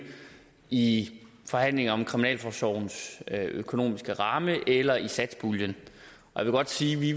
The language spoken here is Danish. i forhandlingerne om kriminalforsorgens økonomiske ramme eller i satspuljen jeg vil godt sige at vi